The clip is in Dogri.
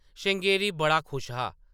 श्रृंगेरी बड़ा खुश हा।